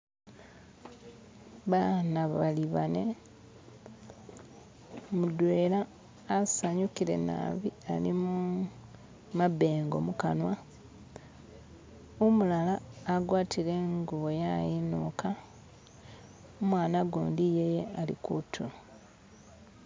bahana bali bane mudwela asanyukile naabi alimu mabengo mukanwa umulala agwatile ingubo yayinuka imwana gundi yeye ali kutulo